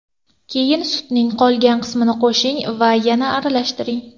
Keyin sutning qolgan qismini qo‘shing va yana aralashtiring.